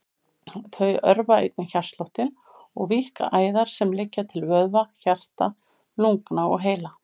Þau örva einnig hjartsláttinn og víkka æðar sem liggja til vöðva, hjarta, lungna og heila.